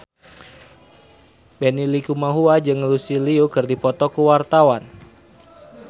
Benny Likumahua jeung Lucy Liu keur dipoto ku wartawan